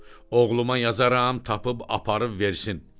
Oğluma yazaram, tapıb aparıb versin.